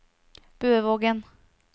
Bøvågen